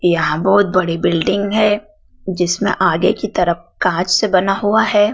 यहां बहोत बड़ी बिल्डिंग है जिसमे आगे की तरफ कांच से बना हुआ है।